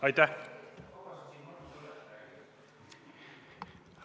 Aitäh!